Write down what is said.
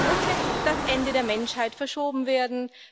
Muss jetzt das Ende der Menschheit verschoben werden?